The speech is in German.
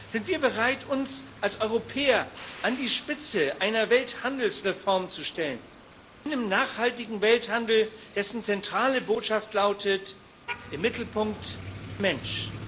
Sind wir bereit, uns als Europäer an die Spitze einer Welthandelsreform zu stellen, eines nachhaltigen Welthandels, dessen zentrale Botschaft lautet im Mittelpunkt der Mensch?